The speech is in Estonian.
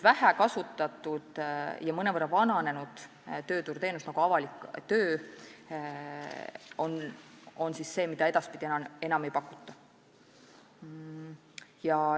Vähe kasutatud ja mõnevõrra vananenud tööturuteenuseid, näiteks avalik töö, edaspidi enam ei pakuta.